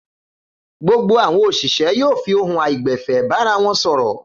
Gbogbo àwọn òṣìṣẹ́ yóò fi ohùn àìgbẹ̀fẹ̀ bára wọn sọ̀rọ̀.